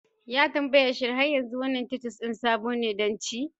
Ya tambaya: Shin har yanzu wannan titus sabo ne don ci?